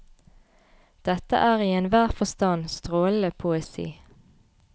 Dette er i enhver forstand strålende poesi.